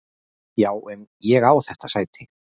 Já en ég á þetta sæti!